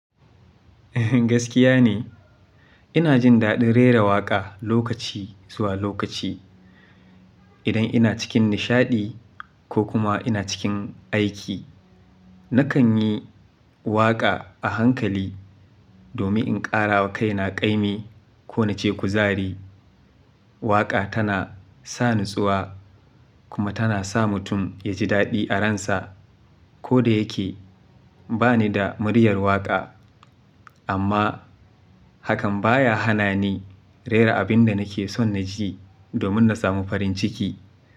Gaskiya ne, ina jin daɗin rera waƙa lokaci zuwa lokaci. Idan ina cikin nishaɗi ko kuma ina cikin aiki, nakan yi waƙa a hankali domin in ƙara wa kaina ƙaimi ko nace kuzari. Waƙa tana sa natsuwa kuma tana sa mutum yaji daɗi a ransa. Koda yake bani da muryar waƙa amma hakan baya hana ni rera abin da nake son naji domin na samu farin ciki.